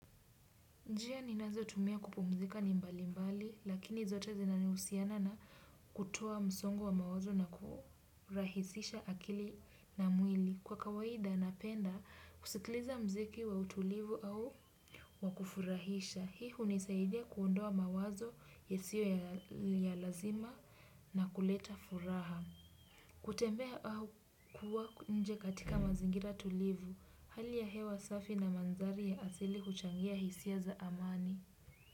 Njia ninazotumia kupumzika ni mbali mbali, lakini zote zinanihusiana na kutoa msongo wa mawazo na kurahisisha akili na mwili. Kwa kawaida, napenda kusikiliza muziki wa utulivu au wa kufurahisha. Hii hunisaidia kuondoa mawazo yasiyo ya lazima na kuleta furaha. Kutembea au kuwa nje katika mazingira tulivu, hali ya hewa safi na manzari ya asili kuchangia hisia za amani. Kwa hivyo.